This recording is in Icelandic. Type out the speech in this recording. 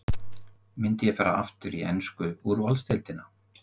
Myndi ég fara aftur í ensku úrvalsdeildina?